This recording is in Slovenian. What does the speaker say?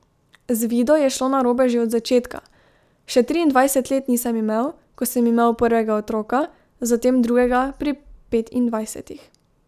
Z Vido je šlo narobe že od začetka, še triindvajset let nisem imel, ko sem imel prvega otroka, zatem drugega pri petindvajsetih.